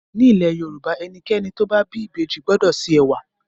Nílẹ̀ Yorùbá ẹnikẹ́ni tó bá bí ìbejì gbọ́dọ̀ se ẹ̀wà.